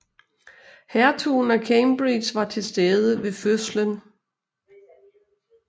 Hertugen af Cambridge var til stede ved fødslen